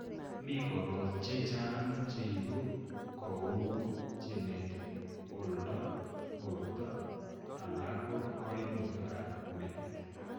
Mi korot chechang'cheibu, kouu genetic, oldo, borto, alako koimutic ab metit